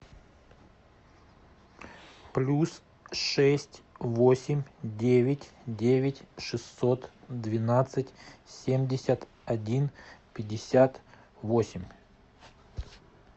плюс шесть восемь девять девять шестьсот двенадцать семьдесят один пятьдесят восемь